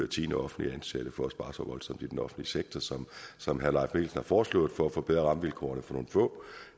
tiende offentligt ansatte for at spare så voldsomt i den offentlige sektor som som herre leif mikkelsen har foreslået for at forbedre rammevilkårene for nogle få